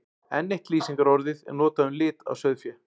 Enn eitt lýsingarorðið er notað um lit á sauðfé.